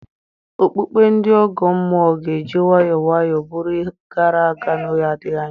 Okpukpe ndị ọgọ mmụọ ga-eji nwayọọ nwayọọ bụrụ ihe gara aga n'oge adịghị anya.